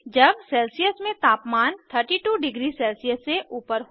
जब सेल्सियस में तापमान 32 डिग्री सेल्सियस से ऊपर हो